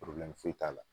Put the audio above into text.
foyi t'a la